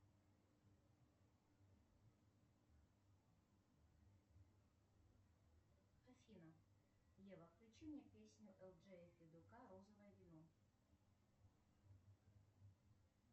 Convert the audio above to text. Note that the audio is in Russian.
афина ева включи мне песню элджея федюка розовое вино